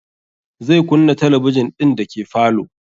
Zai kunna talabijin ɗin dake falo